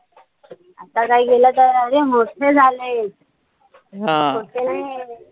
आता काई केलं तर, अरे मोठे झाले. छोटे नाई.